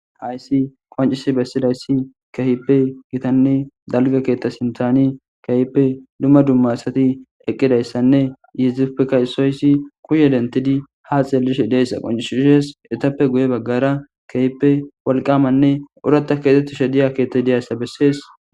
Hayissi qoncisi besidayisi kehippe gitanne dalga ketha sinthan kehippe duma duma asati eqidayisanne izatupeka isinozi kushe detidi ha xelishe dizayisa qonc,ises etappe guye bagara kehippe wolqamanne oratha kexetishe diza kethayi besees